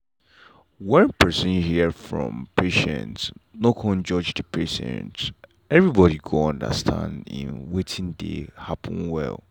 wen person ear from patient no cun judge the patient everybody go understand en wetin dey happen well.